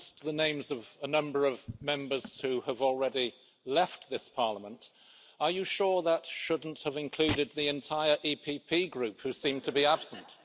Mr President, you announced the names of a number of Members who have already left this Parliament. Are you sure that shouldn't have included the entire EPP Group, who seem to be absent?